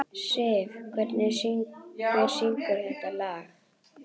Siv, hver syngur þetta lag?